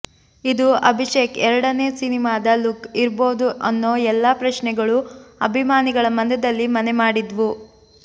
ಇದು ಅಭಿಷೇಕ್ ಎರಡನೆ ಸಿನಿಮಾದ ಲುಕ್ ಇರ್ಬೋದು ಅನ್ನೋ ಎಲ್ಲಾ ಪ್ರಶ್ನೆಗಳೂ ಅಭಿಮಾನಿಗಳ ಮನದಲ್ಲಿ ಮನೆ ಮಾಡಿದ್ವು